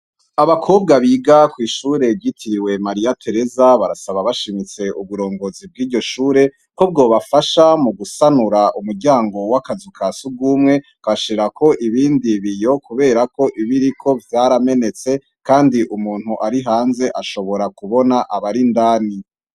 Abakobwa biga kwishure ryitiriwe Mariya Teresa, basaba bashimits' uburongozi bwiryo shure ko bwo bafasha mu gusanur' umuryango w' akazu kasugumwe bagashirak' ibindi biyo, kuber' ibiriko vyara menetse kand' umuntu arihanz' ashobora kubon' abarindani.